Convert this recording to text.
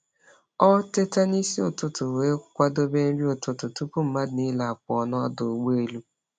Ọ teta n’isi ụtụtụ wee kwadebe nri ụtụtụ tupu mmadụ niile apụọ n’ọdụ ụgbọ elu.